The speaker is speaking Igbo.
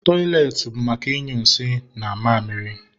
Tọịletị bụ maka ịnyụ nsị na mamịrị